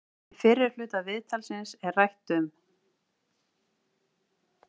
Í fyrri hluta viðtalsins er rætt um